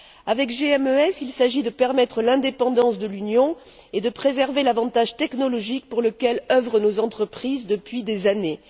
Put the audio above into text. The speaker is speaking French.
Avec GMES, il s'agit de permettre l'indépendance de l'Union et de préserver l'avantage technologique pour lequel œuvrent nos entreprises depuis des années.